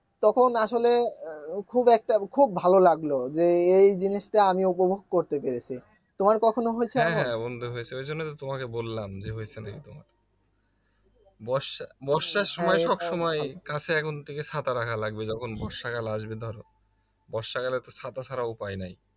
হ্যা হ্যা বন্ধু হয়েছে ঐজন্যই তো তোমাকে বললাম যে হয়েছে নাকি তোমার বর্ষা বর্ষার সময় সবসময় কাছে এখন থেকে ছাতা রাখা লাগবে যখন বর্ষাকাল আসবে ধরো বর্ষাকালে তো ছাতা ছাড়া উপায় নাই